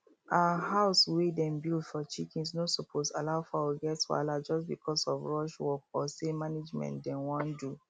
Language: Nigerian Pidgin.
um house wey them build for chickens no suppose allow fowl get wahala just because of rush work or say na managment them wan do